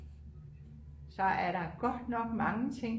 så er der godt nok mange ting